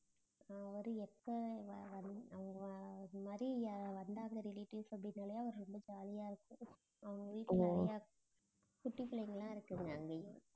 அவரு எப்ப மாதிரி வந்தாங்க relatives அப்படினாலே அவரு ரொம்ப jolly ஆ இருக்கும் அவங்க வீட்டுல நிறைய குட்டி பிள்ளைங்க எல்லாம் இருக்குங்க அங்கேயும்